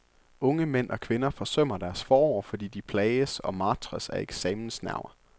Unge mænd og kvinder forsømmer deres forår, fordi de plages og martres af eksamensnerver.